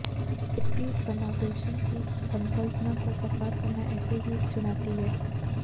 वित्तीय समावेशन की संकल्पना को साकार करना ऐसी ही एक चुनौती है